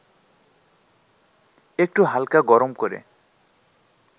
একটু হালকা গরম করে